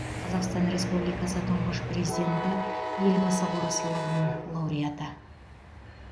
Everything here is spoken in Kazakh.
қазақстан республикасы тұңғыш президенті елбасы қоры сыйлығының лауареаты